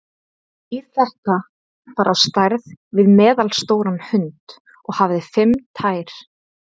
Dýr þetta var á stærð við meðalstóran hund og hafði fimm tær.